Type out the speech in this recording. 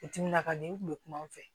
Timina ka di u kun bɛ kuma fɛ